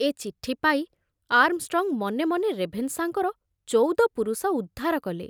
ଏ ଚିଠି ପାଇ ଆର୍ମଷ୍ଟ୍ରଙ୍ଗ ମନେ ମନେ ରେଭେନଶାଙ୍କର ଚଉଦ ପୁରୁଷ ଉଦ୍ଧାର କଲେ।